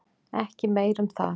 Ekki meir um það.